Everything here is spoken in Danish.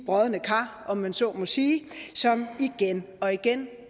brodne kar om man så må sige som igen og igen